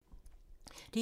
DR2